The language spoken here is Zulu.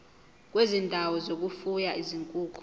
kwezindawo zokufuya izinkukhu